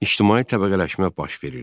İctimai təbəqələşmə baş verirdi.